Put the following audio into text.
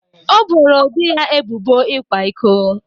O boro di ya ebubo ịkwa iko